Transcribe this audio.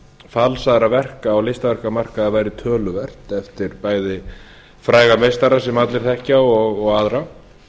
falsaðra verka á listaverkamarkaði væri töluvert eftir bæði fræga meistara sem allir þekkja og aðra